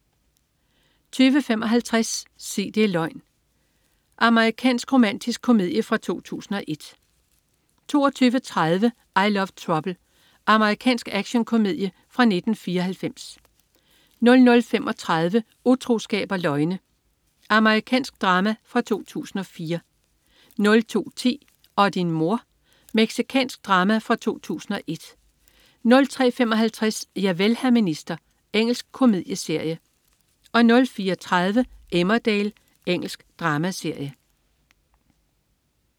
20.55 Sig det' løgn. Amerikansk romantisk komedie fra 2001 22.30 I Love Trouble. Amerikansk actionkomedie fra 1994 00.35 Utroskab og løgne. Amerikansk drama fra 2004 02.10 Og din mor!. Mexicansk drama fra 2001 03.55 Javel, hr. minister. Engelsk komedieserie 04.30 Emmerdale Engelsk dramaserie